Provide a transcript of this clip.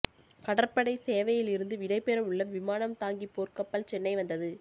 கடற்படை சேவையில் இருந்து விடைபெறவுள்ள விமானம் தாங்கி போர்க்கப்பல் சென்னை வந்தது